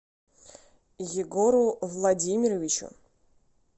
егору владимировичу